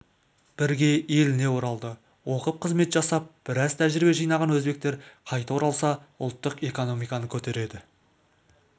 бірге еліне оралды оқып қызмет жасап біраз тәжірибе жинаған өзбектер қайта оралса ұлттық экономиканы көтереді